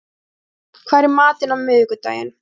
Fúsi, hvað er í matinn á miðvikudaginn?